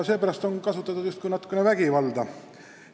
Seepärast on justkui kasutatud natukene vägivalda.